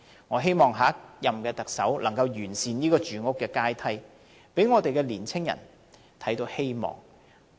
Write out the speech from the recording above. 我希望下一任特首能夠完善住屋階梯，讓年青人看到希望。